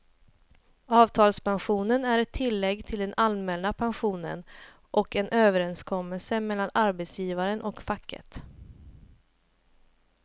Avtalspensionen är ett tillägg till den allmänna pensionen och en överenskommelse mellan arbetsgivaren och facket.